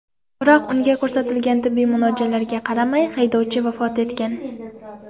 Biroq unga ko‘rsatilgan tibbiy muolajalarga qaramay, haydovchi vafot etgan.